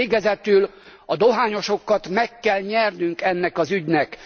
Végezetül a dohányosokat meg kell nyernünk ennek az ügynek.